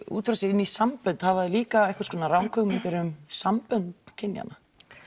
út frá sér inn í sambönd hafa þau líka einhvers konar ranghugmyndir um sambönd kynjanna